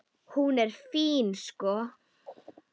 Hún er fín, sko.